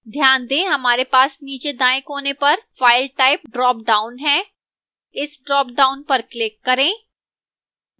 ध्यान दें हमारे पास नीचे दाएं कोने पर file type ड्रॉपडाउन है इस ड्रॉपडाउन पर क्लिक करें